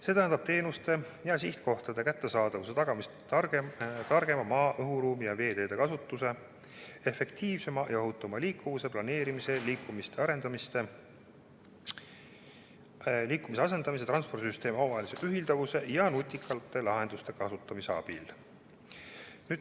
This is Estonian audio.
See tähendab teenuste ja sihtkohtade kättesaadavuse tagamist targema maanteede ja raudteede, õhuruumi ja veeteede kasutamise, efektiivsema ja ohutuma liikuvuse planeerimise, liikumiste asendamise, transpordisüsteemi omavahelise ühilduvuse ja nutikate lahenduste kasutamise abil.